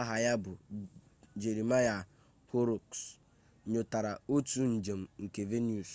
aha ya bụ jeremiah horrocks nyotere otu njem nke venus